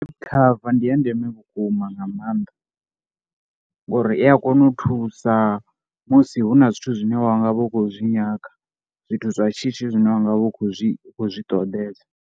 Cover ndi ya ndeme vhukuma nga maanḓa ngori i a kona u thusa musi hu na zwithu zwine wa nga vha u khou zwi nyaga. Zwithu zwa shishi zwine wa nga vha u khou zwi khou zwi ṱoḓea.